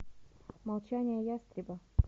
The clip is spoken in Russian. молчание ястреба